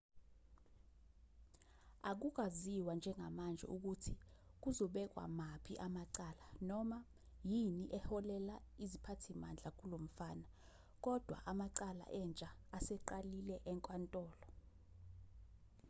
akukaziwa njengamanje ukuthi kuzobekwa maphi amacala noma yini eholele iziphathimandla kulomfana kodwa amacala entsha aseqalile enkantolo